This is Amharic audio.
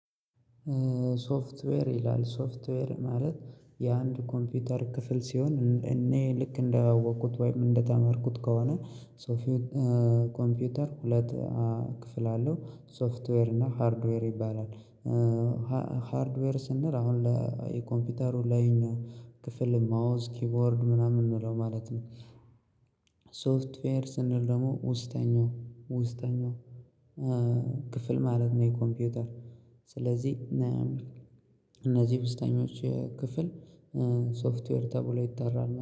ሶፍትዌር ይላል ሶፍትዌር ማለት የአንድ ኮምፒውተር ክፍል ሲሆን እኔ ልክ እንዳወቁት ወይም እንደተመርኩት ከሆነ ሶፊው ኮምፒውተር ሁለት ክፍል አለው ሶፍትዌር እና ሃርድዌር ይባላል። ሃርድዌር ስንል አሁን ለኮምፒውተሩ ላይኛው ክፍል ማውዝ ኪቦርድ ምናምን የምንለው ማለት ነው። ሶፍትፌር ስንል ደግሞ ውስጠኛው ውስጠኛው ክፍል ማለት ነው። የኮምፒውተር ስለዚህ እነዚህ ውስጠኞች ክፍል ሶፍትዌር ተብሎ ይጠራል።